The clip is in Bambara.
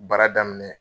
Baara daminɛ